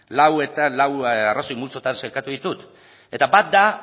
lau arrazoi multzotan sailkatu ditut eta bat da